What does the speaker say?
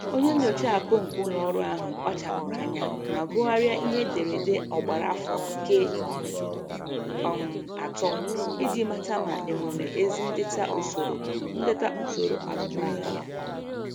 Onye nyocha akụ nke ụlọ ọrụ ahụ kpachapụrụ anya ma gụgharịa ihe ederede ọgbara afọ nke um atọ iji mata ma enwere ezi ndeta usoro ndeta usoro azụmahịa ya.